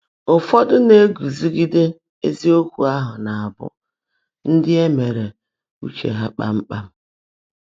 Ụfọ́dụ́ ná-égúzígidé ézíokwú áhụ́, ná-ábụ́ “ndị́ é meèrú́ úche há kpám kpám.”